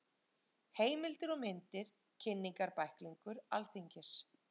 Heimildir og myndir Kynningarbæklingur Alþingis.